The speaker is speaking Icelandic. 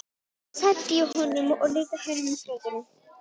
Þá loksins henti ég honum og líka hinum fötunum.